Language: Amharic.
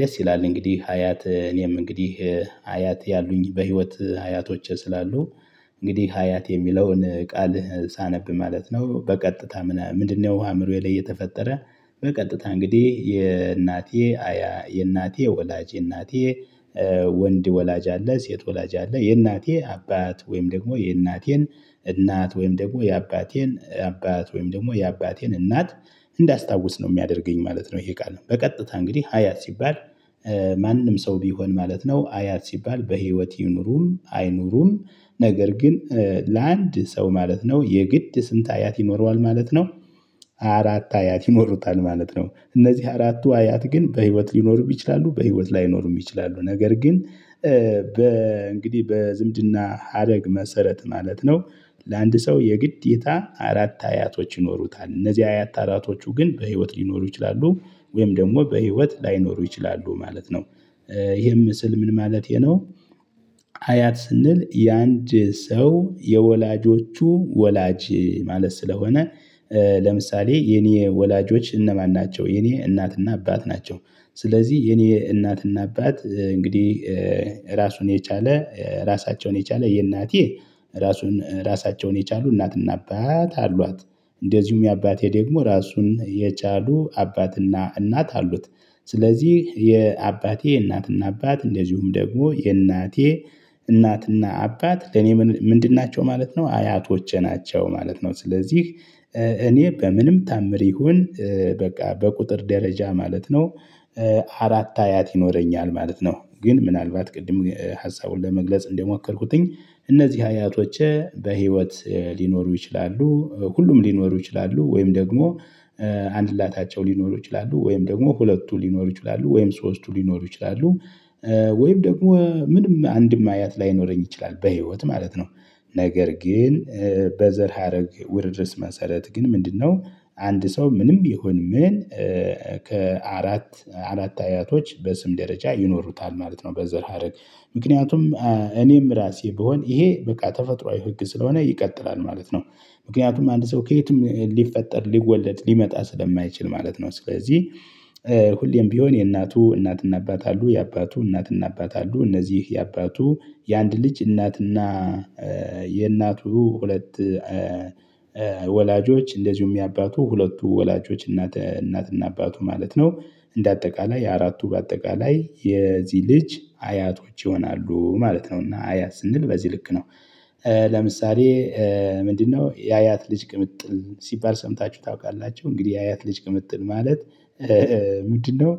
ደስ ይላል እንግዲህ አያት እኔም እንግዲህ አያት ያሉኝ በህይወት አያቶች ስላሉ። እንግዲህ አያት የሚለውን ቃል ሳነብ ማለት ነው። በቀጥታ ምናምን ምንድነው ውሃ አምሮዬ ላይ የተፈጠረ በቀጥታ እንግዲህ የእናቴ አያ። የእናቴ ወላጅ እናቴ ወንድ ወላጅ አለ ሴት ወላጅ አለ። የእናቴ አባት ወይም ደግሞ የእናቴን እናት ወይም ደግሞ የአባቴን አባት ወይም ደግሞ የአባቴን እናት። እንዳስታውስ ነው የሚያደርገኝ ማለት ነው። ይሄ ቃል ነው በቀጥታ እንግዲህ አያት ሲባል። ማንም ሰው ቢሆን ማለት ነው። አያት ሲባል በህይወት ይኑሩም አይኑሩም ነገር ግን ለአንድ ሰው ማለት ነው። የግድ ስንት አያት ይኖረዋል ማለት ነው። አራት አያት ይኖሩታል ማለት ነው። እነዚህ አራቱ አያት ግን በህይወት ሊኖርም ይችላሉ በህይወት ላይኖርም ይችላሉ ነገር ግን በ እንግዲህ በዝምድና ሀረግ መሰረት ማለት ነው። ለአንድ ሰው የግዴታ አራት አያቶች ይኖሩታል እነዚህ አያት አራቶቹ ግን በህይወት ሊኖሩ ይችላሉ ወይም ደግሞ በህይወት ላይኖሩ ይችላሉ ማለት ነው። ይሄም ምስል ምን ማለቴ ነው? አያት ስንል የአንድ ሰው የወላጆቹ ወላጅ ማለት ስለሆነ። ለምሳሌ የኔ ወላጆች እነማን ናቸው? የኔ እናትና አባት ናቸው። ስለዚህ የኔ እናትና አባት እንግዲህ ራሱን የቻለ ራሳቸውን የቻለ የእናቴ ራሱን ራሳቸውን የቻሉ እናትና አባት አሏት። እንደዚሁም የአባቴ ደግሞ ራሱን የቻሉ አባትና እናት አሉት። ስለዚህ የአባቴ እናትና አባት እንደዚሁም ደግሞ የእናቴ እናትና አባት ለኔ ምን ምንድን ናቸው ማለት ነው አያቶቼ ናቸው። ማለት ነው ስለዚህ እኔ በምንም ታምር ይሁን በቃ በቁጥር ደረጃ ማለት ነው። አራት አያት ይኖረኛል ማለት ነው። ግን ምናልባት ቅድም ሀሳቡን ለመግለጽ እንደሞከርኩትኝ እነዚህ አያቶቼ በህይወት ሊኖሩ ይችላሉ ሁሉም ሊኖሩ ይችላሉ ወይም ደግሞ አንድላታቸው ላታቸው ሊኖሩ ይችላሉ ወይም ደግሞ ሁለቱ ሊኖሩ ይችላሉ ወይም ሶስቱ ሊኖሩ ይችላሉ። ወይም ደግሞ ምንም አንድም አያት ላይኖረኝ ይችላል በህይወት ማለት ነው። ነገር ግን በዘር ሀረግ ውርርስ መሰረት ግን ምንድነው? አንድ ሰው ምንም ቢሆን ምን ከአራት አራት አያቶች በስም ደረጃ ይኖሩታል ማለት ነው። በዘር ሀረግ ምክንያቱም እኔም ራሴ ብሆን ይሄ በቃ ተፈጥሮአዊ ህግ ስለሆነ ይቀጥላል ማለት ነው። ምክንያቱም አንድ ሰው ከየትም ሊፈጠር ሊወለድ ሊመጣ ስለማይችል ማለት ነው። ስለዚህ ሁሌም ቢሆን የእናቱ እናትና አባት አሉ የአባቱ እናትና አባት አሉ እነዚህ የአባቱ የአንድ ልጅ እናትና የእናቱ ሁለት ወላጆች እንደዚሁም የአባቱ ሁለቱ ወላጆች እናት እናትና አባቱ ማለት ነው። እንደ አጠቃላይ አራቱ አጠቃላይ የዚህ ልጅ አያቶች ይሆናሉ ማለት ነው እና አያ ስንል በዚህ ልክ ነው። ለምሳሌ ምንድነው የአያት ልጅ ቅምጥል ሲባል ሰምታችሁ ታውቃላችሁ? እንግዲህ የአያት ልጅ ቅምጥል ማለት ምንድነው?